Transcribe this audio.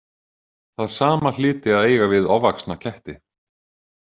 Það sama hlyti að eiga við ofvaxna ketti.